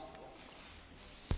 Pani przewodnicząca!